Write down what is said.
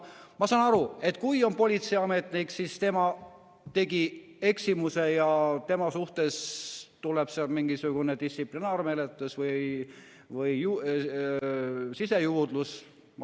Ma saan aru, et kui on politseiametnik ja tema tegi eksimuse, siis tema suhtes tuleb mingisugune distsiplinaarmenetlus või sisejuurdlus.